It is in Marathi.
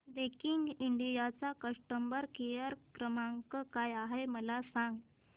दैकिन इंडिया चा कस्टमर केअर क्रमांक काय आहे मला सांगा